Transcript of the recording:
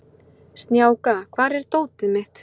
Snjáka, hvar er dótið mitt?